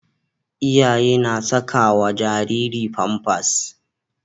Iyaye na sakawa Jariri pampas